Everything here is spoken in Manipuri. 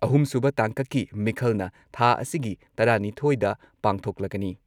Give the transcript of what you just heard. ꯑꯍꯨꯝꯁꯨꯕ ꯇꯥꯡꯀꯛꯀꯤ ꯃꯤꯈꯜꯅ ꯊꯥ ꯑꯁꯤꯒꯤ ꯇꯔꯥꯅꯤꯊꯣꯏꯗ ꯄꯥꯡꯊꯣꯛꯂꯒꯅꯤ꯫